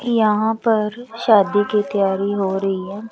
यहां पर शादी की तैयारी हो रही हैं।